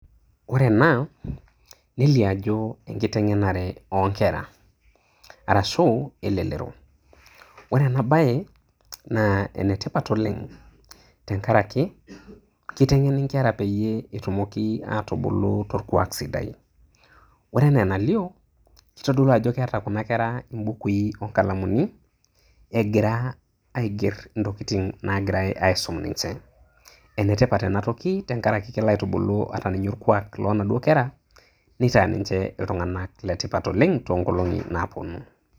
Ore ena nelio ajo enkitengenare onkera , ore enabae naa enetipat oleng tenkaraki kitengeni nkera petumoki atubulu torkwak sidai . Ore enaa enalio kitodolu ajo keeta kuna kera mbukui onkalamuni , egira aiger ntokitin nagira aisum ninche . Enetipat enatoki tenkaraki kelo aitubulu inaduo kera nitaa ninche iltunganak letipat toonkolongi napuonu.